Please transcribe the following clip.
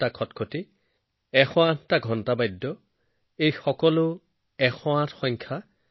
আৰু কি এক অপূৰ্ব সংযোগ যে কাইলৈৰ সূৰ্য্য উদয় হব ২০২৪ চনৰ প্ৰথম সূৰ্য্য উদয়আমি ২০২৪ চনত প্ৰৱেশ কৰিম